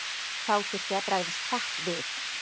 Þá þurfti að bregðast hratt við.